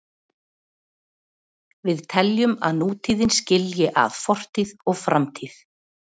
Við teljum að nútíðin skilji að fortíð og framtíð.